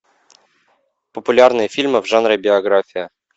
популярные фильмы в жанре биография